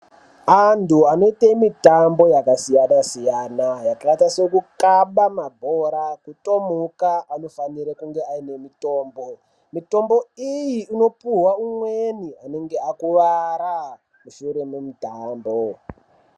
Antu anoite mitambo yaka siyana siyana yakaita seku kaba mabhora ku tomhuka ano fanire kunge aine mitombo mutombo iyi ino puhwa umweni anenge akuvara mushure me mutambo.